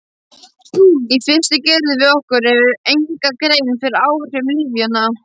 Í fyrstu gerðum við okkur enga grein fyrir áhrifum lyfjanna.